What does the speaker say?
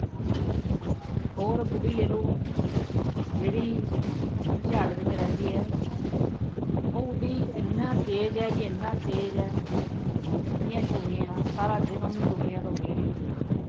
ਹੋਰ ਬੁੱਢੀ ਲੈ ਲਉ। ਜਿਹੜੀ ਸੈਕਟਰ ਛਿਆਹਠ ਵਿੱਚ ਰਹਿੰਦੀ ਹੈ। ਉਹ ਬੁੱਢੀ ਐਨਾ ਤੇਜ਼ ਹੈ ਕਿ ਐਨਾ ਤੇਜ਼ ਹੈ ਐਨੀਆਂ ਚੁਗਲੀਆਂ ਨਾ, ਸਾਰਾ ਦਿਨ ਉਹਨੂੰ ਚੁਗਲੀਆਂ ਤੋਂ ਵਿਹਲ ਹੀ ਨਹੀਂ ਮਿਲਦੀ।